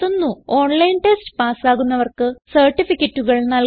online test പാസ്സാകുന്നവർക്ക് സർട്ടിഫികറ്റുകൾ നല്കുന്നു